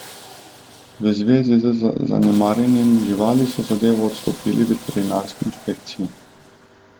V zvezi z zanemarjenjem živali so zadevo odstopili veterinarski inšpekciji.